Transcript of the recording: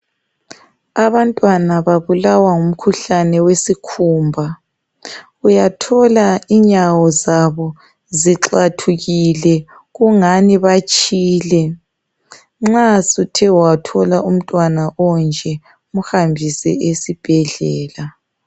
Abantwana babulawa ngumkhuhlane wesikhumba uyathola inyawo zabo zixhathukile kungani batshile nxa suthe wathola umntwana onje umhambise esibhedlela.